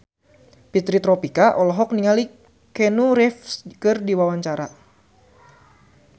Fitri Tropika olohok ningali Keanu Reeves keur diwawancara